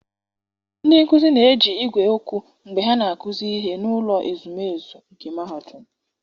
ndị nkuzi na-eji igwe okwu mgbe ha na-akụzi ihe n'ụlọ ezumezu nke Mahadum.